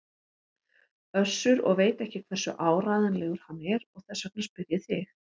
Össur og veit ekki hversu áreiðanlegur hann er og þess vegna spyr ég þig.